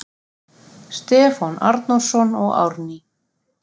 Stefán Arnórsson og Árný